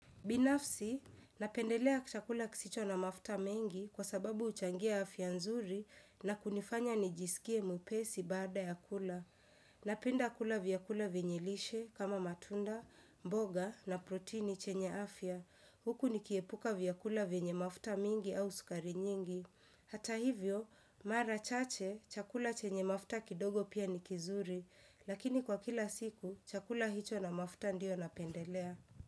Binafsi, napendelea chakula kisicho na mafta mengi kwa sababu uchangia afya nzuri na kunifanya nijisikie mwupesi baada ya kula. Napenda kula vyakula venye lishe kama matunda, mboga na protini chenye afya. Huku nikiepuka vyakula venye mafta mengi au sukari nyingi. Hata hivyo mara chache, chakula chenye mafta kidogo pia nikizuri, lakini kwa kila siku, chakula hicho na mafta ndio napendelea.